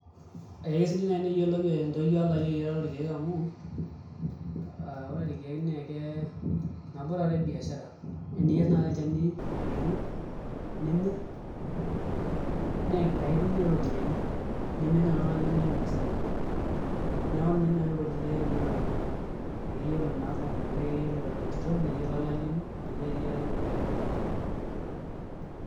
Akesidai nai teneyiolo entoyie olayiok eyiarare oolkeek amu aa amu ore ilkeek nekee nabo toi naatoi e biashara naa eniyier nai olchani ayieru nimir nieke aitumie toi iropiyiani nemetii nai oltungani lemeyiu impisai neeku ninye enkoitoi sidai enaa ekeyiolo naa pooki metaa keyiolo entito neyiolo olayioni eyiare ilkeek